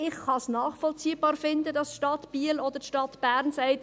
Ich kann es nachvollziehbar finden, dass die Stadt Biel oder die Stadt Bern sagt: